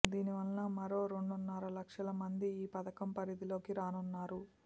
దీని వల్ల మరో రెండున్నర లక్షల మంది ఈ పథకం పరిధిలోకి రానున్నారు